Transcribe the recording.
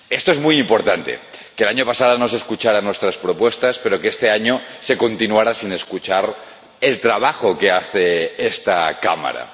Es muy importante que el año pasado no se escucharan nuestras propuestas, pero que este año se haya continuado sin escuchar el trabajo que hace esta Cámara.